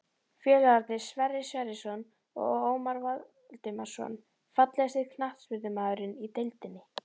Félagarnir Sverrir Sverrisson og Ómar Valdimarsson Fallegasti knattspyrnumaðurinn í deildinni?